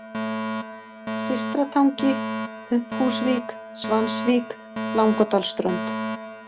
Systratangi, Pumphúsvík, Svansvík, Langadalsströnd